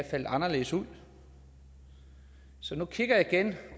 faldet anderledes ud så nu kigger jeg igen